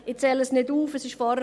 Ich zähle sie nicht auf;